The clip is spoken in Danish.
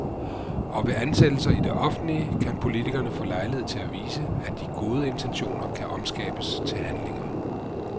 Og ved ansættelser i det offentlige kan politikerne få lejlighed til at vise, at de gode intentioner kan omskabes til handlinger.